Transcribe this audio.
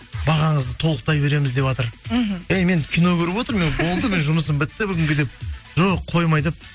бағаңызды толықтай береміз деватыр мхм эй мен кино көріп отырмын болды менің жұмысым бітті бүгінге деп жоқ қоймай деп